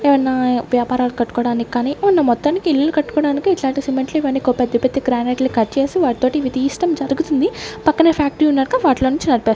ఏవన్నా వ్యాపారాలు కట్టుకోడానిక్కానీ ఉన్న మొత్తానికి ఇల్లులు కట్టుకోడానికి ఇట్లాంటి సిమెట్లు ఇవన్నీ ఇకో పెద్ద పెద్ద గ్రానైట్లు కట్ చేసి వాటితోటి ఇవి తీస్డం జరుగుతుంది పక్కనే ఫ్యాక్టరీ ఉన్నారుగా వాటిలో నుంచి --